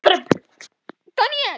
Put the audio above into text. Lífið kemur sífellt á óvart.